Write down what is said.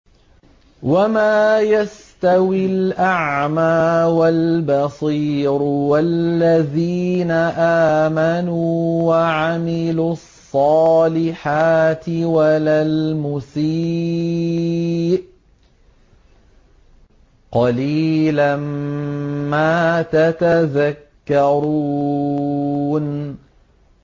وَمَا يَسْتَوِي الْأَعْمَىٰ وَالْبَصِيرُ وَالَّذِينَ آمَنُوا وَعَمِلُوا الصَّالِحَاتِ وَلَا الْمُسِيءُ ۚ قَلِيلًا مَّا تَتَذَكَّرُونَ